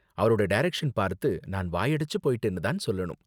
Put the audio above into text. அவரோட டைரக்ஷன் பார்த்து நான் வாயடைச்சு போயிட்டேன்னு தான் சொல்லணும்.